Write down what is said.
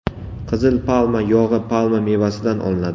Qizil palma yog‘i palma mevasidan olinadi.